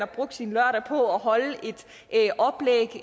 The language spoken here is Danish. brugt sin lørdag på at holde